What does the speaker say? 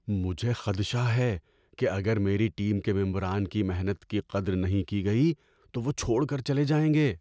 مجھے خدشہ ہے کہ اگر میری ٹیم کے ممران کی محنت کی قدر نہیں کی گئی تو وہ چھوڑ کر چلے جائیں گے۔